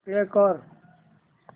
play कर